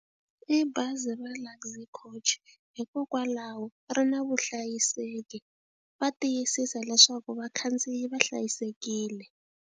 I bazi ra Luxy Coach hikokwalaho ri na vuhlayiseki va tiyisisa leswaku vakhandziyi va hlayisekile.